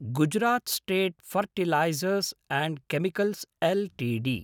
Gujarat state fertilizers and chemicals Ltd